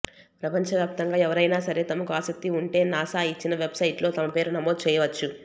ప్రపంచవ్యాప్తంగా ఎవరైనా సరే తమకు ఆసక్తి ఉంటే నాసా ఇచ్చిన వెబ్ సైట్ లో తమ పేరు నమోదు చేయవచ్చు